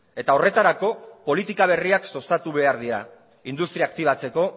eta horretarako politika berriak sustatu behar dira industria aktibatzeko